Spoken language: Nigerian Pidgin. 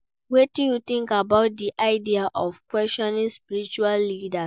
Wetin you think about di idea of questioning spiritual leaders?